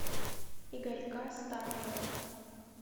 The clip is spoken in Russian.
игорька старкова